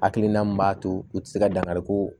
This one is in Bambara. Hakilina min b'a to u ti se ka dankari ko